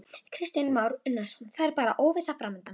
Kristján Már Unnarsson: Það er bara óvissa framundan?